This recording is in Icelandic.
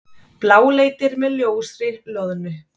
Bláleitir með ljósri loðnu.